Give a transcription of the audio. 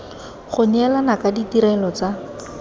go neelana ka ditirelo tsa